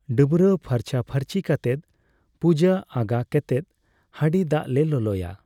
ᱰᱟᱹᱵᱽᱨᱟᱹ ᱯᱷᱟᱨᱪᱟ ᱯᱷᱟᱹᱨᱪᱤ ᱠᱟᱛᱮᱫ, ᱯᱩᱡᱟᱹ ᱟᱜᱟ ᱠᱮᱛᱮᱫ, ᱦᱟᱸᱰᱤ ᱫᱟᱜ ᱞᱮ ᱞᱚᱞᱚᱭᱟ